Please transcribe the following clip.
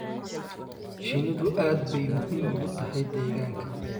Shinnidu aad bay muhiim ugu tahay deegaanka